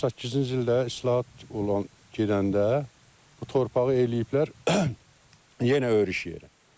98-ci ildə islahat olan gedəndə bu torpağı eləyiblər yenə örüş yeri.